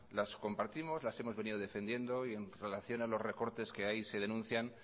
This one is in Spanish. las compartimos las hemos venido defendiendo y en relación a los recortes que ahí se denuncian